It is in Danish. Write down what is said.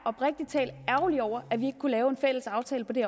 ærgerlig over at vi ikke kunne lave en fælles aftale på det